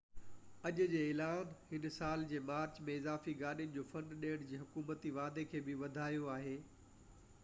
اڄ جي اعلان هن سال جي مارچ ۾ اضافي گاڏين جو فنڊ ڏيڻ جي حڪومتي واعدي کي بہ وڌايو آهي